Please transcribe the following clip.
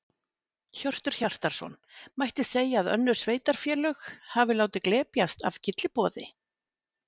Hjörtur Hjartarson: Mætti segja að önnur sveitarfélög hafi látið glepjast af gylliboði?